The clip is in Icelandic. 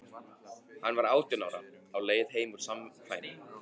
Hann var átján ára, á leið heim úr samkvæmi.